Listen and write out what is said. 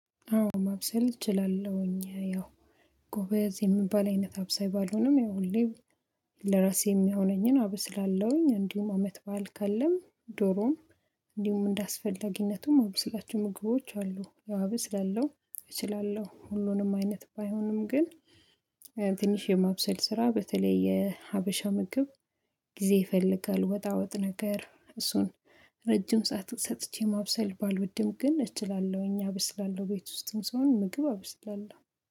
አዎ ማብሰል እችላለሁኝ ያው ጎበዝ የምባል አይነት አብሳይ ባልሆንም ሁሌም ለራሴ የሚሆነኝን አብስላለሁኝ። እንዲሁም ለአመት በዓል ካለም ዶሮም እንዲሁም እንደአስፈላጊነቱም ማብስላቸው ምግቦች አሉ። አብስላለው እችላለሁ ሁሉንም አይነት ባይሆንም። ግን ትንሽ የማብሰል ስራ በተለይ የሀበሻ ምግብ ጊዜ ይፈልጋል። ወጣ ወጥ ነገር እሱን ረጅም ሰዓት ሰጥቼ ማብሰል ባልወድም ግን እችላለሁ። እኛ አበስላለሁ ቤት ውስጥም ሰሆን ምግብ አበስላለሁ